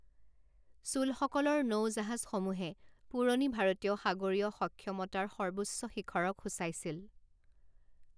চোলসকলৰ নৌ জাহাজসমূহে পুৰণি ভাৰতীয় সাগৰীয় সক্ষমতাৰ সৰ্বোচ্চ শিখৰক সূচাইছিল।